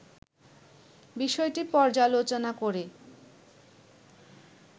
বিষয়টি পর্যালোচনা করে